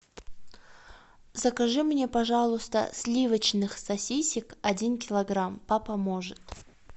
закажи мне пожалуйста сливочных сосисок один килограмм папа может